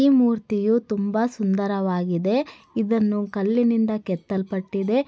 ಈ ಮೂರ್ತಿಯು ತುಂಬಾ ಸುಂದರವಾಗಿದೆ ಇದನ್ನು ಕಲ್ಲಿನಿಂದ ಕೆತ್ತಲ್ಪಟ್ಟಿದೆ.